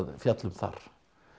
fjalla um þar